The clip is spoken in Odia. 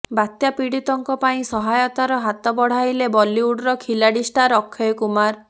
ବାତ୍ୟା ପୀଡିତଙ୍କ ପାଇଁ ସହାୟତାର ହାତ ବଢାଇଲେ ବଲିଉଡର ଖିଲାଡି ଷ୍ଟାର ଅକ୍ଷୟ କୁମାର